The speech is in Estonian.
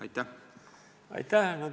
Aitäh!